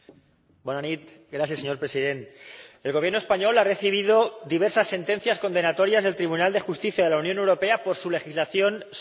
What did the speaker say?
Señor Presidente, el Gobierno español ha recibido diversas sentencias condenatorias del Tribunal de Justicia de la Unión Europea por su legislación sobre hipotecas.